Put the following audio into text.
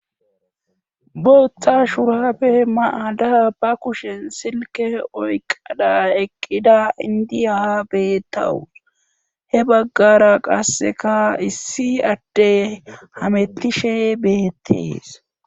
booththa shurafe mayada ba kushen silke oyqada eqqida indiya beettawus he baggara qasseka issi adte hamettishe beyettees